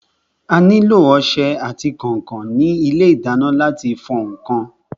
A nílò ọsẹ àti kànkàn ní ilé ìdáná láti fọ ǹkan.